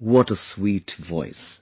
What a sweet voice...